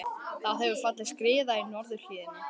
Það hefur fallið skriða í norðurhlíðinni